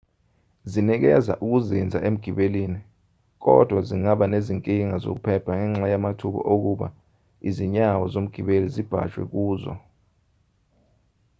zinikeza ukuzinza emgibelini kodwa zingaba nezinkinga zokuphepha ngenxa yamathuba okuba izinyawo zomgibeli zibhajwe kuzo